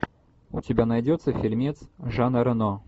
у тебя найдется фильмец жана рено